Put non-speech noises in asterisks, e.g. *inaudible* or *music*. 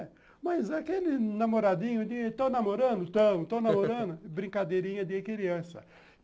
É, mas aquele namoradinho de tão namorando, tão, tão namorando, *laughs* brincadeirinha de criança.